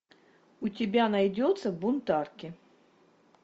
у тебя найдется бунтарки